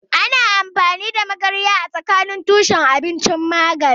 Ana amfani da magarya a matsayin tushen abinci da magani.